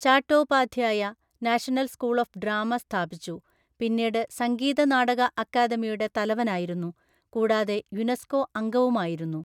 Chattopadhyay, National School of Drama സ്ഥാപിച്ചു, പിന്നീട് സംഗീത നാടക അക്കാദമിയുടെ തലവനായിരുന്നു, കൂടാതെ യുനെസ്കോ അംഗവുമായിരുന്നു.